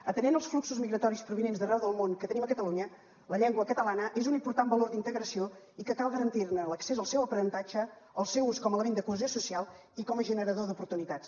atenent els fluxos migratoris provinents d’arreu del món que tenim a catalunya la llengua catalana és un important valor d’integració i cal garantir ne l’accés al seu aprenentatge al seu ús com a element de cohesió social i com a generador d’oportunitats